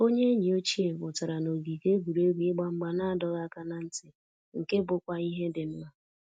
Onye enyi ochie pụtara na ogige egwuregwu ịgba mgba na adọghị aka na ntị, nke bụkwa ihe dị mma